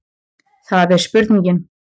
Það er spurningin.